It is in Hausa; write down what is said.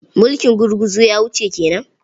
Mulkin gurguzu ya wuce ke nan.